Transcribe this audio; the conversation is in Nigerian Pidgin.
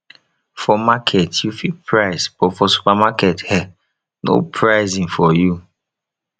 for market yu fit price but for supermarket eh no pricing for yu